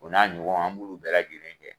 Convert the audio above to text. U n'a ɲɔgɔn an b'olu bɛɛ lajɛlen kɛ.